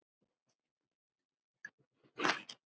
Platan er í mónó.